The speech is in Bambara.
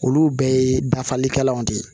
Olu bɛɛ ye dafalikɛlaw de ye